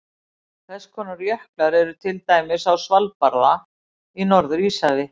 Þess konar jöklar eru til dæmis á Svalbarða í Norður-Íshafi.